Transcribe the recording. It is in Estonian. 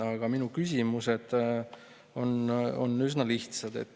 Aga minu küsimused on üsna lihtsad.